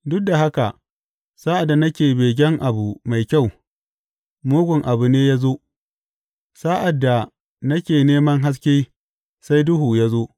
Duk da haka sa’ad da nake begen abu mai kyau, mugun abu ne ya zo; Sa’ad da nake neman haske, sai duhu ya zo.